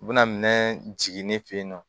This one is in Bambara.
U bɛna minɛn jigi ne fen yen nɔ